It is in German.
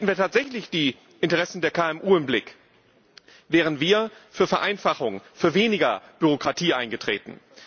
Hätten wir tatsächlich die Interessen der KMU im Blick, wären wir für Vereinfachung, für weniger Bürokratie eingetreten.